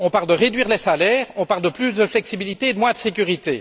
On parle de réduire les salaires, on parle de plus de flexibilité et de moins de sécurité.